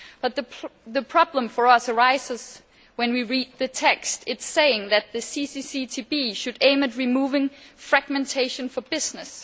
But the problem for us arises when we read the text. It says that the CCCTB should aim at removing fragmentation for business.